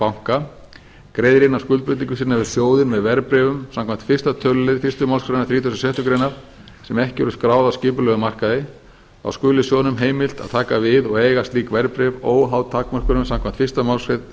banka greiðir inn á skuldbindingu sína við sjóðinn með verðbréfum samkvæmt fyrsta tölulið fyrstu málsgrein þrítugustu og sjöttu grein sem ekki eru skráð á skipulegum markaði þá skuli sjóðnum heimilt að taka við og eiga slík verðbréf óháð takmörkunum samkvæmt